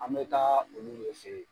An mɛ taa ka olu de fen yen